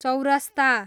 चौरस्ता